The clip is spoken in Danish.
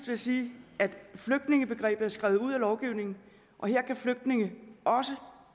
jeg sige at flygtningebegrebet er skrevet ud af lovgivningen her kan flygtninge også